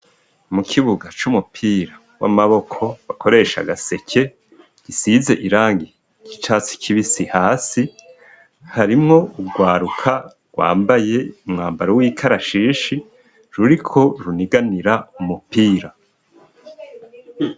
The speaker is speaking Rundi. Mu kibuga c'umupira w'amaboko bakoresha gaseke gisize irangi ry'icatsi kibisi hasi, harimwo urwaruka rwambaye umwambaro w'ikarashishi ruriko runiganira umupira.